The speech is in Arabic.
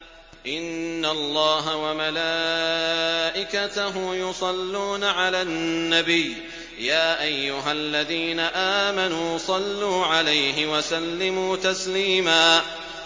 إِنَّ اللَّهَ وَمَلَائِكَتَهُ يُصَلُّونَ عَلَى النَّبِيِّ ۚ يَا أَيُّهَا الَّذِينَ آمَنُوا صَلُّوا عَلَيْهِ وَسَلِّمُوا تَسْلِيمًا